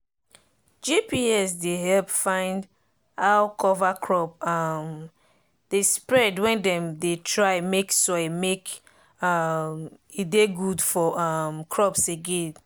gps dey help follow how cover crop um dey spread when dem dey try make soil make um e dey good for um crops again.